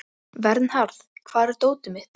Að ljóstra upp um gömul mál